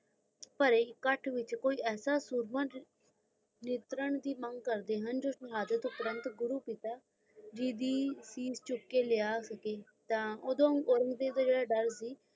ਭਰੇ ਅਖ਼ਤ ਵਿਚ ਕੋਈ ਇਸ ਸੂਰਮਾ ਜੇ ਨਿਤਰਾਂ ਦੀ ਮੰਗ ਕਰਦੇ ਹਨ ਗੁਰੂ ਪਿਤਾ ਜੀ ਦੀ ਚੀਜ਼ ਚੁੱਕ ਕ ਲਾਯਾ ਸਕੇ ਤੇ ਓਡਉ